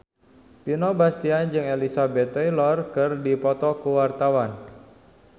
Vino Bastian jeung Elizabeth Taylor keur dipoto ku wartawan